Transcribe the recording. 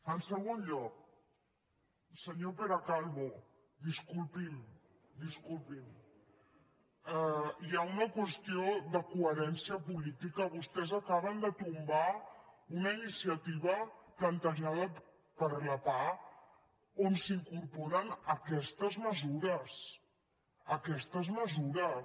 en segon lloc senyor pere calvo disculpi’m disculpi’m hi ha una qüestió de coherència política vostès acaben de tombar una iniciativa plantejada per la pah on s’incorporen aquestes mesures aquestes mesures